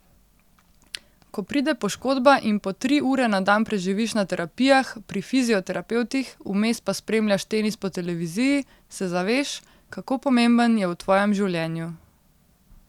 Ko pride poškodba in po tri ure na dan preživiš na terapijah, pri fizioterapevtih, vmes pa spremljaš tenis po televiziji, se zaveš, kako pomemben je v tvojem življenju.